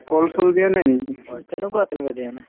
কল-চল দিয়া নাই নেকি